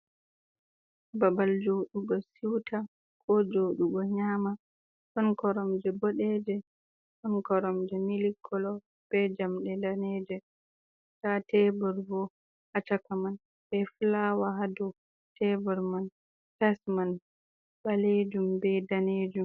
Babal joɗugo siwta, ko joɗugo nyama, ɗon koromje boɗeje, ɗon koromje mili kolo, be jamɗe daneje, nda tebur bo ha chaka man be fulawa hadow tebur man, tayis man ɓalejum be danejum.